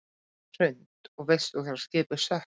Hrund: Og veistu hvar skipið sökk?